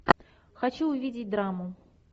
хочу увидеть драму